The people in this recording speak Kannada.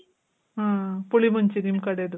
ಆ. ಪುಳಿ ಮುಂಚಿ ನಿಮ್ ಕಡೆದು.